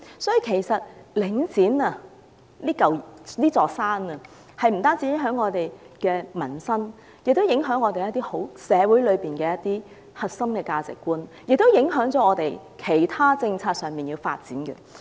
因此，領展這座山其實不單影響香港的民生，亦會影響社會的核心價值，並且影響到其他政策的發展。